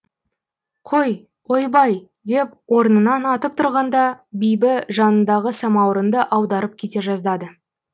қой ойбай деп орнынан атып тұрғанда бибі жанындағы самаурынды аударып кете жаздады